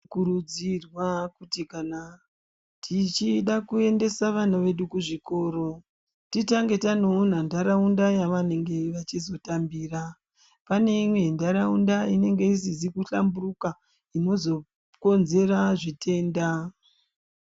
Tinokurudzirwa kuti kana tichida kuendesa vana vedu kuzvikora, titange tandoona ntaraunda yavanenge vachizotambira. Pane imwe ntaraunda inenge isizi kuhlamburuka inozokonzera zvitenda.